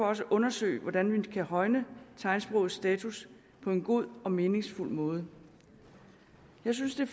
også undersøge hvordan vi kan højne tegnsprogs status på en god og meningsfuld måde jeg synes det